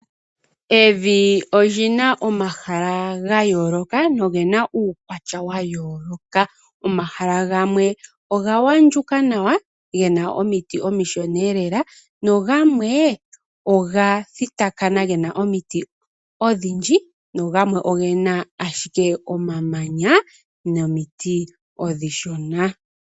Evi olyina omahala gayooloka nogena uukwatya wayooloka. Omahala gamwe oga wandjuka nawa gena omiti omishona lela, na gamwe oga thitikana gena omiti odhindji no gamwe ogena ashike omamanya nomiti omishona.